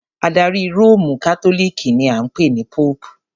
Adarí Róòmù Kátólíìkì ni a ń pè ní Póòpù.